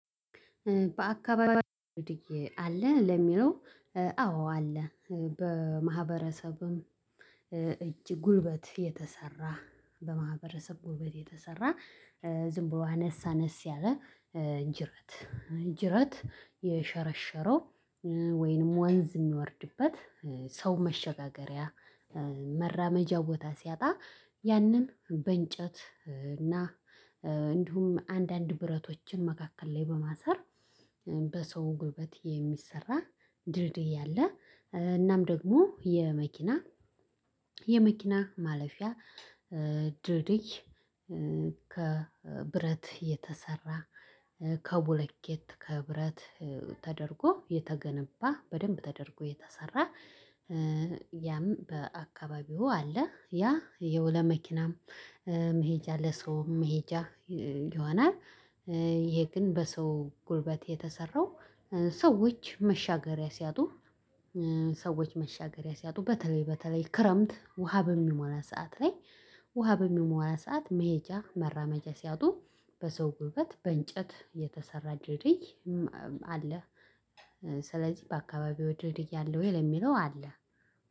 በአካባቢው አለ ለሚለው አዎ አለ። በማህበረሰብም እጅ ጉልበት የተሰራ በማህበረሰብ ጉልበት የተሰራ ዝም ብሎ አነሳነስ ያለ እ ጅረት ጅረት የሸረሸረው ወይንም ወንዝ የሚወርድበት ሰው መሸጋገሪያ መራመጃ ቦታ ሲያጣ ያንን በእንጨት እና እንዲሁም አንዳንድ ብረቶችን መካከል ላይ በማሰር በሰው ጉልበት የሚሰራ ድልድይ አለ። እናም ደግሞ የመኪና የመኪና የመኪና ማለፊያ ድልድይ ከብረት የተሰራ ከቡለኬት ከብረት ተደርጎ የተገነባ በደንብ ተደርጎ የተሰራ ያም በአካባቢው አለ ያ ያው ለመኪናም መሄጃ ለሰውም መሄጃ ይሆናል። ይሄ ግን በሰው ጉልበት የተሰራው ሰዎች መሻገሪያ ሲያጡ ሰዎች መሻገሪያ ሲያጡ በተለይ በተለይ ክረምት ውሃ በሚሞላ ሰዓት ላይ ውሃ በሚሞላ ሰዓት መሄጃ መራማጃ ሲያጡ በሰው ጉልበት በእንጨት የተሰራ ድርድይ አለ። ስለዚህ በአካባቢው ድርድይ ያለው ወይ ለሚለው አለ።